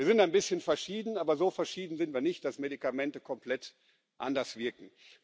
Wir sind ein bisschen verschieden, aber so verschieden sind wir nicht, dass Medikamente komplett anders wirken.